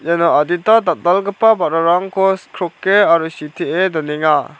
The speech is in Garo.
iano adita dal·dalgipa ba·rarangko sikroke aro sitee donenga.